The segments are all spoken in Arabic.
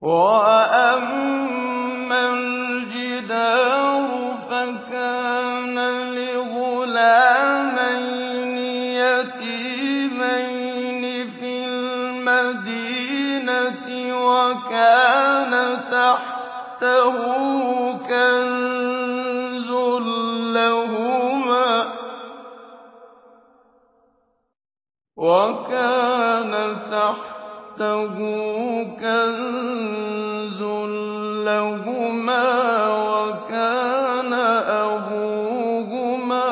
وَأَمَّا الْجِدَارُ فَكَانَ لِغُلَامَيْنِ يَتِيمَيْنِ فِي الْمَدِينَةِ وَكَانَ تَحْتَهُ كَنزٌ لَّهُمَا وَكَانَ أَبُوهُمَا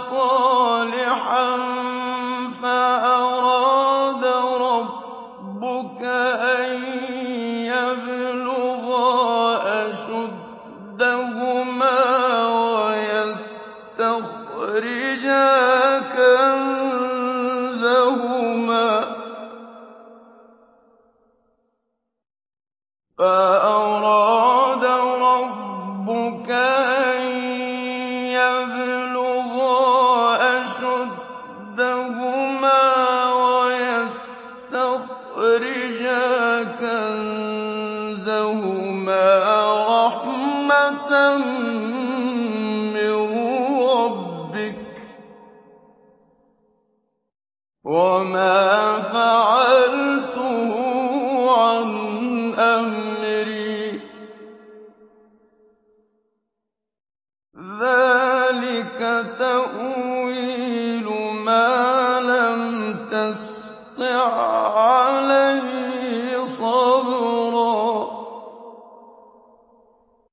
صَالِحًا فَأَرَادَ رَبُّكَ أَن يَبْلُغَا أَشُدَّهُمَا وَيَسْتَخْرِجَا كَنزَهُمَا رَحْمَةً مِّن رَّبِّكَ ۚ وَمَا فَعَلْتُهُ عَنْ أَمْرِي ۚ ذَٰلِكَ تَأْوِيلُ مَا لَمْ تَسْطِع عَّلَيْهِ صَبْرًا